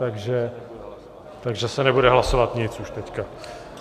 Takže se nebude hlasovat nic už teď.